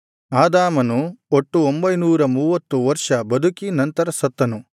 ಆದಾಮನು ಒಟ್ಟು ಒಂಭೈನೂರ ಮೂವತ್ತು ವರ್ಷ ಬದುಕಿ ನಂತರ ಸತ್ತನು